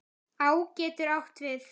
Á getur átt við